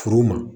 Furu ma